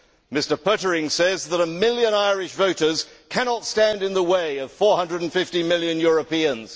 Mr Pöttering says that a million Irish voters cannot stand in the way of 450 million Europeans.